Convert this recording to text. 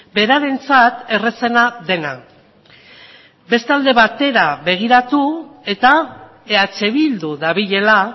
berarentzat errazena dena beste alde batera begiratu eta eh bildu dabilela